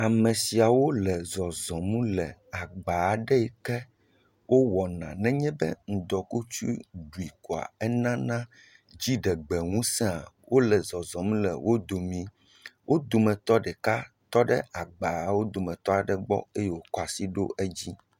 Ame siawo le zɔzɔm le agbaa aɖe yi ke nenye be ŋdɔkutsu ɖui koa, enana dziɖegbeŋusẽa, wole zɔzɔm le wo domii. Wo dometɔ ɖeka tɔ aɖe agbawo dometɔ ɖe gbɔ eye wòkɔ asi ɖo edzi.